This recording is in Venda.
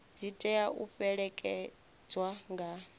dzi tea u fhelekedzwa nga